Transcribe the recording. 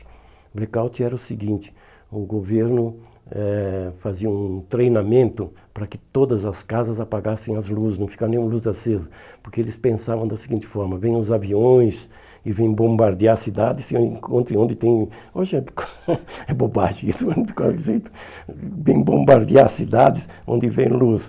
O blackout era o seguinte, o governo eh fazia um treinamento para que todas as casas apagassem as luzes, não ficasse nenhuma luz acesa, porque eles pensavam da seguinte forma, vêm os aviões e vêm bombardear a cidade, se encontrem onde tem... Hoje é bobagem isso, vêm bombardear a cidade onde vem luz.